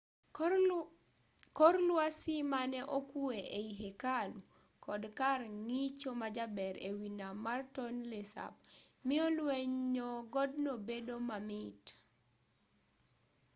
kor lwasi mane okwe ei hekalu kod kar ng'icho majaber ewi nam mar tonle sap miyo lwenyo godno bedo mamit